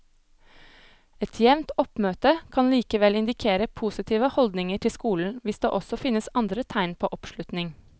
Et jevnt oppmøte kan likevel indikere positive holdninger til skolen hvis det også finnes andre tegn på oppslutning.